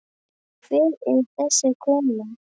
Hver er þessi kona?